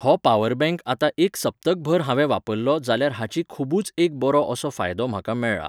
हो power bank आतां एक सपत्क भर हांवें वापरलो जाल्यार हाची खुबूच एक बरो असो फायदो म्हाका मेळ्ळा.